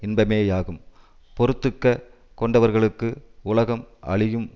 இன்பமேயாகும் பொறுத்துக்க கொண்டவர்களுக்கு உலகம் அழியும்